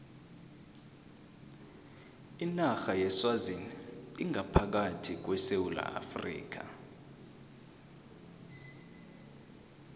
inarha yeswazini ingaphakathi kwesewula afrika